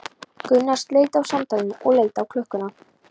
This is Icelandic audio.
Gunnar sleit samtalinu og leit á klukkuna.